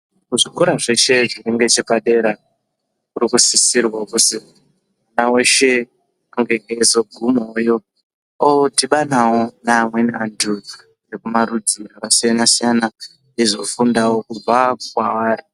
Kuzvikora zveshe zvefundo yese yepadera kurikusisirwa kuzi mwana weshe ange eyizoguma woyo ,odhibana wo nevevamweni antu ekumarudzi akasiyana- siyana eyizofundawo kubva kwaari.